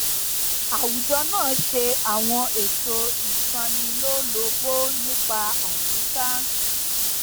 àwùjọ náà ṣe àwọn ètò ìtanilólobó nípa àyíká